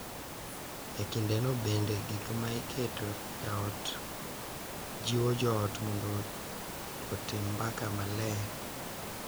E kindeno bende, gik ma iketo e ot jiwo jo ot mondo otim mbaka maler .